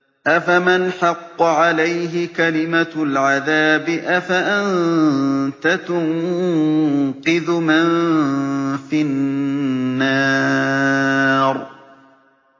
أَفَمَنْ حَقَّ عَلَيْهِ كَلِمَةُ الْعَذَابِ أَفَأَنتَ تُنقِذُ مَن فِي النَّارِ